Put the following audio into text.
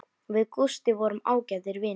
Við Gústi vorum ágætir vinir.